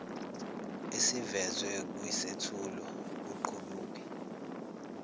esivezwe kwisethulo kuqubuke